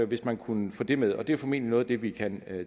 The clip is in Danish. hvis man kunne få det med det er formentlig noget af det vi kan